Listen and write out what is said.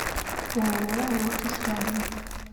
ооо лотос рядом